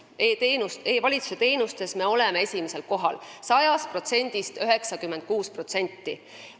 E-valitsuse teenuste poolest me oleme esimesel kohal: 96% 100%-st.